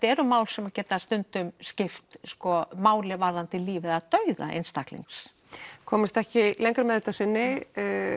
eru mál sem geta stundum skipt máli varðar líf eða dauða einstaklings komumst ekki lengra með þetta að sinni